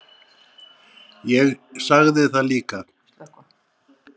Ég sagði það líka.